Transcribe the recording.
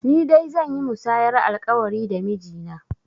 Ni dai zan yi musayar alƙawari da miji na